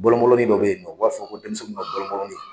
Bɔlɔn bɔlɔnnin dɔ bɛ yen nɔ u b'a fɔ ko denmisɛnninw ka bɔlɔn bɔlɔnnin.